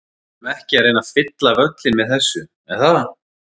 Við erum ekki að reyna að fylla völlinn með þessu, er það?